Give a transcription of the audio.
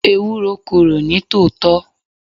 Ewúro korò ní tòótọ́.